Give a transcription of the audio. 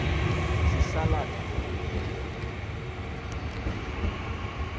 sisala tha ndlela